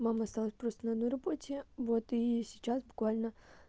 мама осталась просто на одной работе вот и сейчас буквально